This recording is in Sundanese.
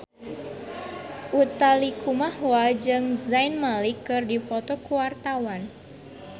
Utha Likumahua jeung Zayn Malik keur dipoto ku wartawan